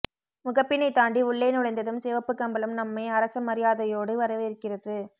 முகப்பினைத் தாண்டி உள்ளே நுழைந்ததும் சிவப்புக் கம்பளம் நம்மை அரச மரியாதையோடு வரவேற்கிறது